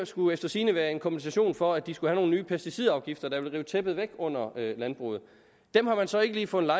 skulle efter sigende være en kompensation for at de skulle have nogle nye pesticidafgifter der ville rive tæppet væk under landbruget dem har man så ikke lige fundet